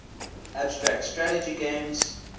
abstract strategy games